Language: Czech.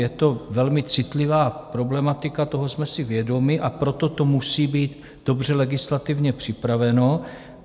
Je to velmi citlivá problematika, toho jsme si vědomi, a proto to musí být dobře legislativně připraveno.